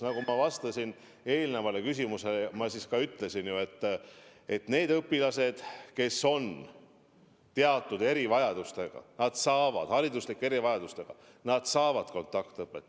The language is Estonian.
Nagu ma eelmisele küsimusele vastates juba ütlesin, need õpilased, kes on teatud erivajadustega, kes on hariduslike erivajadustega, saavad kontaktõpet.